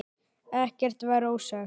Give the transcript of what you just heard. Ekkert var ósagt.